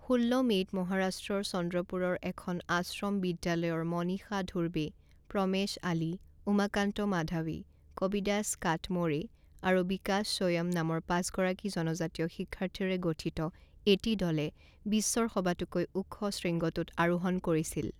ষোল্ল মে'ত মহাৰাষ্ট্ৰৰ চন্দ্ৰপুৰৰ এখন আশ্ৰম বিদ্যালয়ৰ মনীষা ধুৰবে, প্ৰমেশ আলী, উমাকান্ত মাধাৱী, কবিদাস কাটমোড়ে আৰু বিকাশ সোয়ম নামৰ পাঁচগৰাকী জনজাতীয় শিক্ষাৰ্থীৰে গঠিত এটি দলে বিশ্বৰ সবাতোকৈ ওখ শৃংখটোত আৰোহণ কৰিছিল।